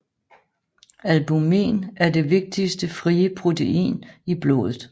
Albumin er det vigtigste frie protein i blodet